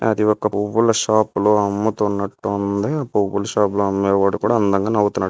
అది ఒక పువ్వుల షాప్ లో అమ్ముతున్నట్టు ఉంది. పువ్వుల షాప్ లో అమ్ముతున్నవాడు కూడ అందంగా నవ్వుతున్నాడు.